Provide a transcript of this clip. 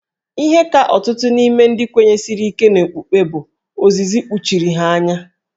Ihe ka ọtụtụ n'ime ndị kwenyesiri ike n'okpukpe bụ ozizi kpuchiri ha anya.